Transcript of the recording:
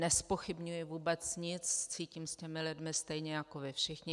Nezpochybňuji vůbec nic, cítím s těmi lidmi stejně jako vy všichni.